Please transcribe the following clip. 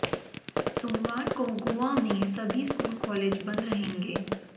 सोमवार को गोवा में सभी स्कूल कॉलेज बंद रहेंगे